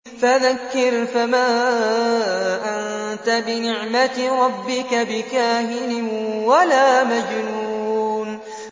فَذَكِّرْ فَمَا أَنتَ بِنِعْمَتِ رَبِّكَ بِكَاهِنٍ وَلَا مَجْنُونٍ